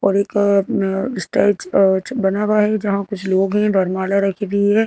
और एक अ स्टेज अ बना हुआ है जहाँ कुछ लोग हैं वरमाला रखी हुई है।